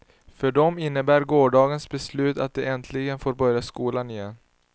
För dem innebär gårdagens beslut att de äntligen får börja skolan igen.